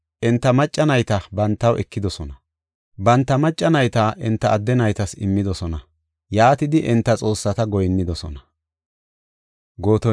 Enta macca nayta bantaw ekidosona; banta macca nayta enta adde naytas immidosona. Yaatidi enta xoossata goyinnidosona.